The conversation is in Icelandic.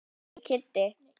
En nýi Kiddi.